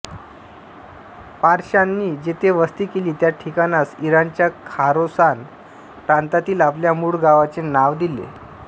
पारशांनी जेथे वस्ती केली त्या ठिकाणास इराणच्या खोरासान प्रांतातील आपल्या मूळ गावाचे नाव दिले